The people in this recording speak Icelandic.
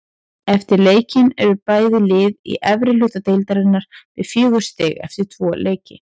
Eftir leikinn eru bæði lið í efri hluta deildarinnar með fjögur stig eftir tvo leiki.